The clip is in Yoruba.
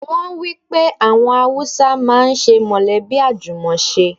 Wọ́n wípé àwọn Haúsá ń máa ń ṣe mọ̀lẹ́bí àjùmọ̀ ṣe.